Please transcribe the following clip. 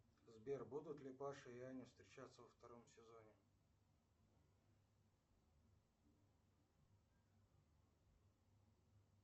сбер будут ли паша и аня встречаться во втором сезоне